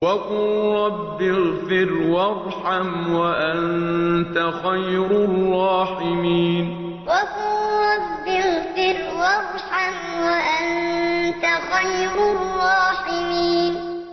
وَقُل رَّبِّ اغْفِرْ وَارْحَمْ وَأَنتَ خَيْرُ الرَّاحِمِينَ وَقُل رَّبِّ اغْفِرْ وَارْحَمْ وَأَنتَ خَيْرُ الرَّاحِمِينَ